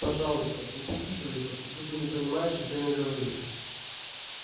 пожалуйста не прикидывайся будто не понимаешь о чем я говорю